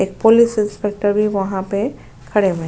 एक police inspector भी वहा पे खड़े हुए--